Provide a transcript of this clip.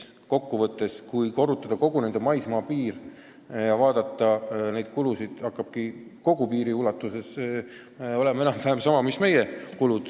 Kui võtta kogu nende maismaapiir ja vaadata neid kulusid, siis tulevad kogu piiri ulatuses kulud kokku enam-vähem samad mis meil.